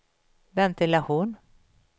ventilation